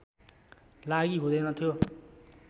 लागि हुँदैन थियो